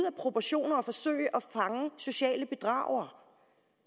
af proportioner at forsøge at fange sociale bedragere